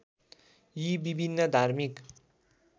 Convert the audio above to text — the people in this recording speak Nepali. यी विभिन्न धार्मिक